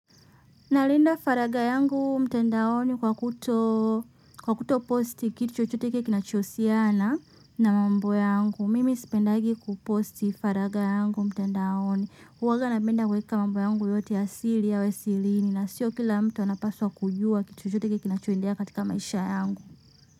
Nalinda faragha yangu mtandaoni kwa kuto posti kitu chochote kinachiohusiana na mambo yangu. Mimi sipendagi kuposti faragha yangu mtandaoni. Huwaga napenda kuweka mambo yangu yote ya siri yawesirini na sio kila mtu anapaswa kujua kitu chochote kinachoendelea katika maisha yangu.